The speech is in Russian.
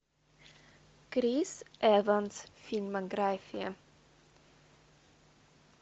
крис эванс фильмография